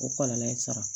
O kɔlɔlɔ ye sara